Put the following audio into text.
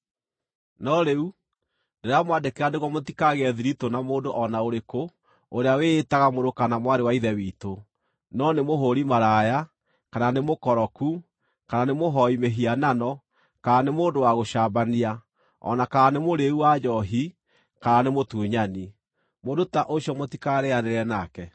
No rĩu, ndĩramwandĩkĩra nĩguo mũtikagĩe thiritũ na mũndũ o na ũrĩkũ ũrĩa wĩĩtaga mũrũ kana mwarĩ wa Ithe witũ, no nĩ mũhũũri maraya, kana nĩ mũkoroku, kana nĩ mũhooi mĩhianano kana nĩ mũndũ wa gũcambania, o na kana nĩ mũrĩĩu wa njoohi kana nĩ mũtunyani. Mũndũ ta ũcio mũtikarĩĩanĩre nake.